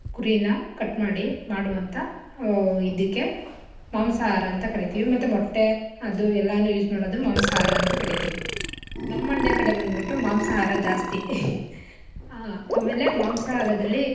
ಕುರಿನ cut ಮಾಡಿ ಮಾಡುವಂಥ ಆಹ್ ಇದಿಕ್ಕೆ ಮಾಂಸಾಹಾರ ಅಂತ ಕರಿತಿವಿ, ಮತ್ತೆ ಮೊಟ್ಟೆ ಅದು ಎಲ್ಲಾನು use ಮಾಡದು ಮಾಂಸಾಹಾರ ಅಂತ ಕರಿತಿವಿ, ನಮ್ ಮಂಡ್ಯ ಕಡೆ ಬಂದ್ಬುಟ್ಟು ಮಾಂಸಾಹಾರ ಜಾಸ್ತಿ ಆಹ್ ಆಮೇಲೆ ಮಾಂಸಹಾರದಲ್ಲಿ.